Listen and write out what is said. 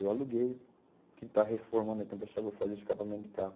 Eu aluguei, quem está reformando aqui é o pessoal que vai fazer escapamento de carro.